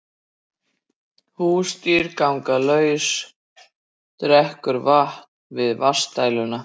Húsdýr ganga laus og drekkur vatn við vatnsdæluna